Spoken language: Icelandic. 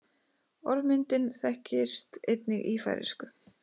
Orðmyndin þekkist einnig í færeysku.